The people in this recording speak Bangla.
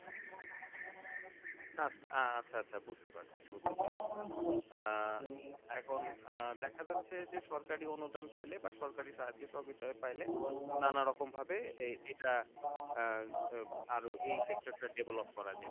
আচ্ছা আচ্ছা বুঝতে পারছি বুঝতে পারছি আহ এখন আহ দেখা যাচ্ছে যে সরকারি অনুদান পাইলে বা সরকারি সাহায্য সহযোগিতা পেলে নানা রকম ভাবে এটা আহ আহ আরও এই sector টা develop করা যেতে পারে তাই তো?